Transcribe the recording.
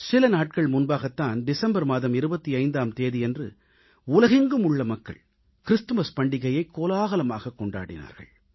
சில நாட்கள் முன்பாகத்தான் டிசம்பர் மாதம் 25ஆம் தேதியன்று உலகெங்கும் உள்ள மக்கள் கிறிஸ்துமஸ் பண்டிகையை கோலாகலமாகக் கொண்டாடினார்கள்